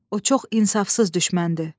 O çox insafsız düşməndir.